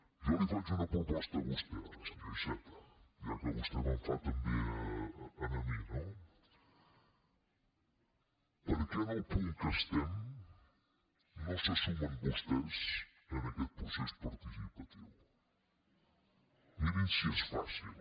jo li faig una proposta a vostè ara senyor iceta ja que vostè me’n fa també a mi no per què en el punt que estem no se sumen vostès a aquest procés participatiu mirin si és fàcil